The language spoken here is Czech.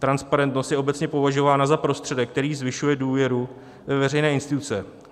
Transparentnost je obecně považována za prostředek, který zvyšuje důvěru ve veřejné instituce.